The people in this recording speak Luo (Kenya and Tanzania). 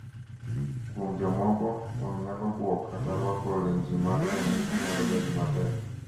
kuom jomoko, wang' nyalo buok kata rwako lenji mag rang'I nyalo bedo matek